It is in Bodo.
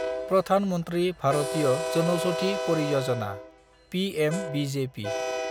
प्रधान मन्थ्रि भारतीय जनौषधि पारियजाना’ (पिएमबिजेपि)